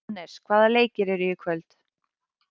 Anes, hvaða leikir eru í kvöld?